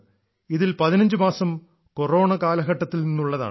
ഇതിൽ 15 മാസം കൊറോണ കാലഘട്ടത്തിൽ നിന്നുള്ളതാണ്